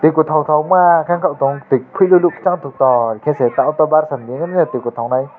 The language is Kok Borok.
tui katok katokma ang ke tango tui kuilolo sang totok are ke se tui tongtok nai.